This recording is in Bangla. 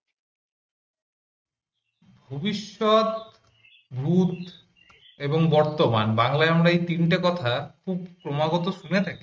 ভবিষ্যৎ ভূত এবং বর্তমান বাংলায় আমরা এই তিনটা কথা খুব ক্রমাগত শুনে থাকি